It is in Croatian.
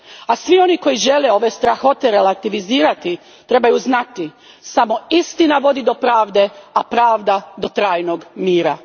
A svi oni koji žele ove strahote relativizirati trebaju znati da samo istina vodi do pravde, a pravda do trajnog mira.